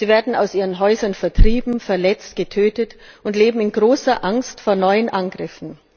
Die Menschen werden aus ihren Häusern vertrieben, verletzt, getötet und leben in großer Angst vor neuen Angriffen.